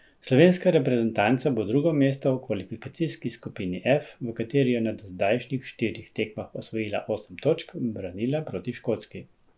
Slovenska reprezentanca bo drugo mesto v kvalifikacijski skupini F, v kateri je na dozdajšnjih štirih tekmah osvojila osem točk, branila proti Škotski.